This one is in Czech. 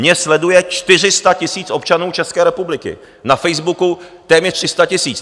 Mě sleduje 400 tisíc občanů České republiky, na Facebooku téměř 300 tisíc.